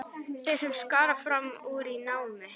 Þeir sem skara fram úr í námi.